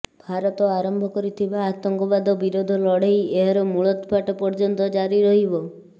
ଭାରତ ଆରମ୍ଭ କରିଥିବା ଆତଙ୍କବାଦ ବିରୋଧ ଲଢେଇ ଏହାର ମୂଳତ୍ପାଟ ପର୍ଯ୍ୟନ୍ତ ଜାରି ରହିବ